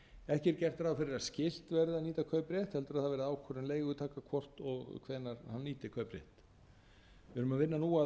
ekki er gert ráð fyrir að skyld verði að nýta kauprétt heldur að það verði ákvörðun leigutaka hvort og hvenær hann nýtir kaupréttinn við erum að vinna